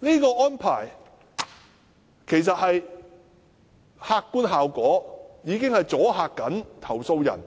這個安排的客觀效果正是阻嚇投訴人